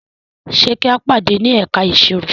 Ṣe ki a pade ni ẹka iṣiro?